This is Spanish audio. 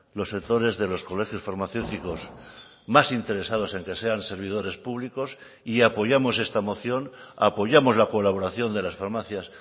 los sectores de los colegios farmacéuticos más interesados en que sean servidores públicos y apoyamos esta moción apoyamos la colaboración de las farmacias